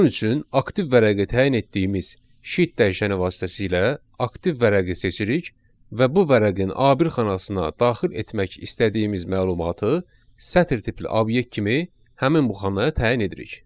Bunun üçün aktiv vərəqi təyin etdiyimiz sheet dəyişəni vasitəsilə aktiv vərəqi seçirik və bu vərəqin A1 xanasına daxil etmək istədiyimiz məlumatı sətir tipli obyekt kimi həmin bu xanaya təyin edirik.